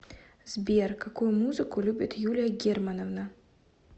сбер какую музыку любит юлия германовна